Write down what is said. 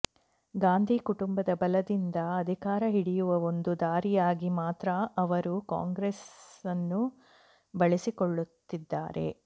ಗಾಂಧಿ ಕುಟುಂಬದ ಬಲದಿಂದ ಅಧಿಕಾರ ಹಿಡಿಯುವ ಒಂದು ದಾರಿಯಾಗಿ ಮಾತ್ರ ಅವರು ಕಾಂಗ್ರೆಸ್ನ್ನು ಬಳಸಿಕೊಳ್ಳುತ್ತಿದ್ದಾರೆ